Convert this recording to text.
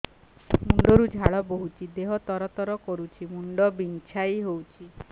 ମୁଣ୍ଡ ରୁ ଝାଳ ବହୁଛି ଦେହ ତର ତର କରୁଛି ମୁଣ୍ଡ ବିଞ୍ଛାଇ ହଉଛି